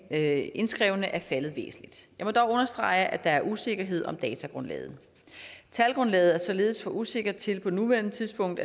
af indskrevne er faldet væsentligt jeg må dog understrege at der er usikkerhed om datagrundlaget talgrundlaget er således for usikkert til at man på nuværende tidspunkt